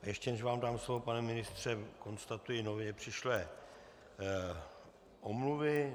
Ještě než vám dám slovo, pane ministře, konstatuji nově přišlé omluvy.